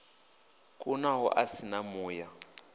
kunaho a si na muya